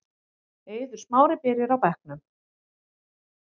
Eiður Smári byrjar á bekknum